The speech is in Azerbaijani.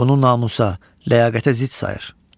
Bunu namusa, ləyaqətə zidd sayır.